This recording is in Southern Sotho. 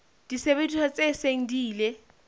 disebediswa tse seng di ile